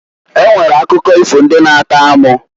E nwere akụkọ ifo ndị na -atọ amụ.